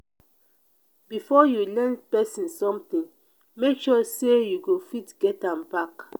before you lend pesin sometin make sure sey you go fit get am back.